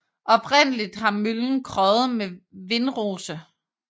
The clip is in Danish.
Oprindelig har møllen krøjet med vindrose